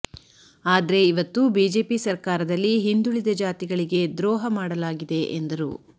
ಆದ್ರೆ ಇವತ್ತು ಬಿಜೆಪಿ ಸರ್ಕಾರದಲ್ಲಿ ಹಿಂದುಳಿದ ಜಾತಿಗಳಿಗೆ ದ್ರೋಹ ಮಾಡಲಾಗಿದೆ ಎಂದರು